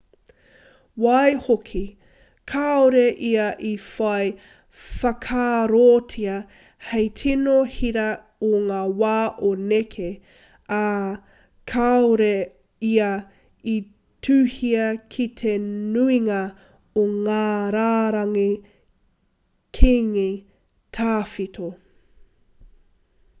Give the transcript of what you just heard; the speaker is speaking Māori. waihoki kāore ia i whai whakaarotia hei tino hira i ngā wā o nehe ā kāore ia i tuhia ki te nuinga o ngā rārangi kīngi tawhito